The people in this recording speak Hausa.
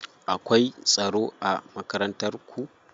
Akwai tsaro a Makarantar ku?